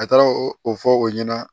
A taara o fɔ o ɲɛna